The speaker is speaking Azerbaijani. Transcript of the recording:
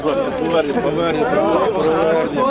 Qayıt, qayıt, qayıt, qayıt, qayıt!